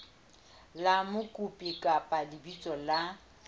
la mokopi kapa lebitso la